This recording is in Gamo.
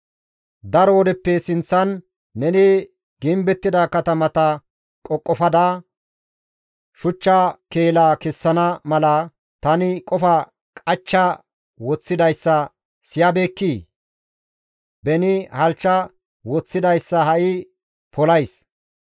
«Daro wodeppe sinththan neni gimbettida katamata qoqofada, shuchcha keela kessana mala, tani qofa qachcha woththidayssa siyabeekkii? Beni halchcha woththidayssa ha7i polays.